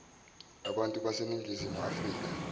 abantu baseningizimu afrika